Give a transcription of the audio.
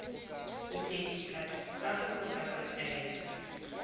ho phethisa kahlolo kapa taelo